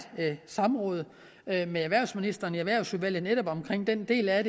samråd med med erhvervsministeren i erhvervsudvalget netop om den del at